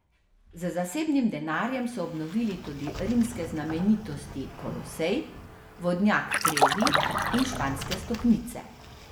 Z zasebnim denarjem so obnovili tudi rimske znamenitosti Kolosej, vodnjak Trevi in Španske stopnice.